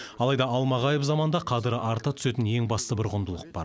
алайда алмағайып заманда қадірі арта түсетін ең басты бір құндылық бар